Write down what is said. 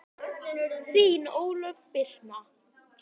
Þín Ólöf Birna.